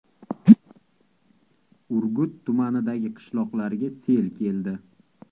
Urgut tumanidagi qishloqlarga sel keldi .